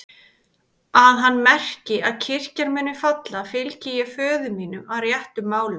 Að hann merki að kirkjan muni falla, fylgi ég ekki föður mínum að réttum málum.